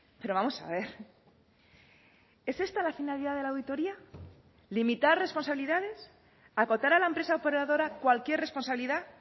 pero vamos a ver es esta la finalidad de la auditoría limitar responsabilidades acotar a la empresa operadora cualquier responsabilidad